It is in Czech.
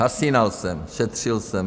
Zhasínal jsem, šetřil jsem.